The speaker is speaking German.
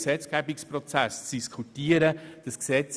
Die Polizei ist vor Ort und hat die Lage gesichert.